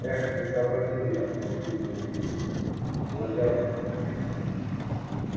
эх не сообразил я воскликнул билл кладя ружье на место